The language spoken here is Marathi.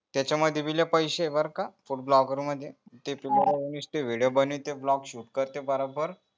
त्याच्या मध्ये भी लय पैसे आहे बर का food blogger मध्ये ते तू नुस्ते video बनविते blog shoot करते